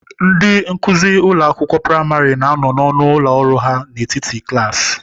Ndị nkuzi ụlọ akwụkwọ praịmarị na-anọ n'ọnụ ụlọ ọrụ ha n'etiti klaasị.